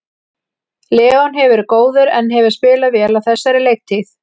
Leon hefur verið góður en hefur spilað vel á þessari leiktíð.